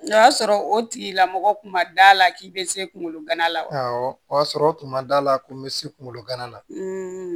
O y'a sɔrɔ o tigilamɔgɔ kun ma d'a la k'i bɛ se kungolo gana la wa awɔ o y'a sɔrɔ o tun ma d'a la ko n bɛ se kungolo gana la